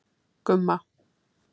Gumma